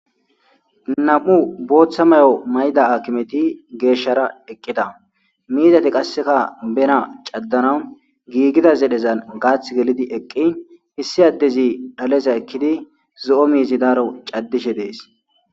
Namu'u botha mayo mayida haakimeti yiidinne geshara eqida mizati qaseka bena cadanawu gigiza zedhe gathi gelidi eqin issi adezi dhaleza ekidi zoo mizi daro cadishe desi.